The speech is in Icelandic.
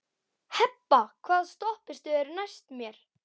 Hebba, hvaða stoppistöð er næst mér?